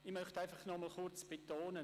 Ich möchte noch einmal betonen: